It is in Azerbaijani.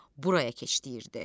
Buraya keç deyilirdi.